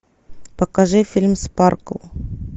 покажи фильм спаркл